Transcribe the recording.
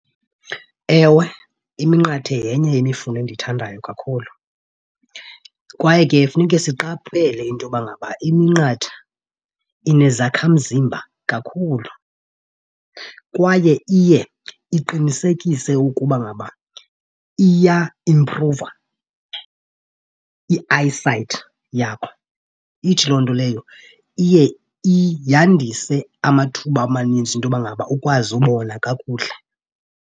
Ewe, iminqathe yenye yemifuno endiyithandayo kakhulu. Kwaye ke funeke siqaphele into yoba ngaba iminqatha inezakhamzimba kakhulu kwaye iye iqinisekise ukuba ngaba iyaimpruva i-eye sight yakho. Ithi loo nto leyo iye yandise amathuba amaninzi into yoba ngaba ukwazi ubona kakuhle.